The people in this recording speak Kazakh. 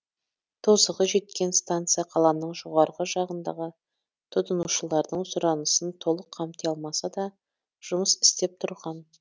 тозығы жеткен станция қаланың жоғарғы жағындағы тұтынушылардың сұранысын толық қамти алмаса да жұмыс істеп тұрған